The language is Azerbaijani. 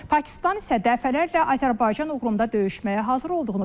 Pakistan isə dəfələrlə Azərbaycan uğrunda döyüşməyə hazır olduğunu bildirib.